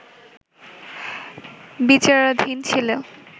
বিচারাধীন ছিল